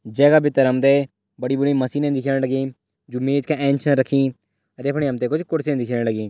जे का भितर हम तें बड़ी बड़ी मशीन दिख्यंण लगी जु मेज का एंच च रखीअर यख हम तें कुछ कुर्सी छे दिखेण लगी।